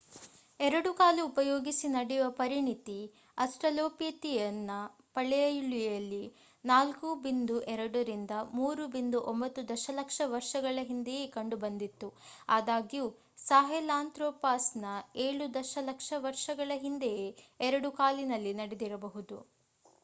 ಎರಡು ಕಾಲು ಉಪಯೋಗಿಸಿ ನಡೆಯುವ ಪರಿಣಿತಿ ಅಸ್ಟ್ರಲೋಪಿಥಿಯಸ್ ನ ಪಳೆಯುಳಿಕೆಗಳಲ್ಲಿ 4.2-3.9 ದಶ ಲಕ್ಷ ವರ್ಷಗಳ ಹಿಂದೆಯೇ ಕಂಡು ಬಂದಿತ್ತು ಆದಾಗ್ಯೂ ಸಾಹೆಲಾಂತ್ರೊಪಾಸ್ 7 ದಶ ಲಕ್ಷ ವರ್ಷಗಳ ಹಿಂದೆಯೇ ಎರಡು ಕಾಲಿನಲ್ಲಿ ನಡೆದಿರಬಹುದು